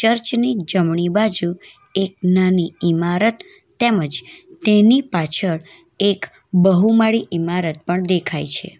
Church ની જમણી બાજુ એક નાની ઇમારત તેમજ તેની પાછળ એક બહુમાળી ઇમારત પણ દેખાઈ છે.